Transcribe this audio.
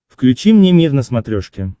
включи мне мир на смотрешке